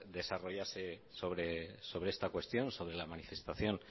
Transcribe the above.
desarrollase sobre esta cuestión sobre la manifestación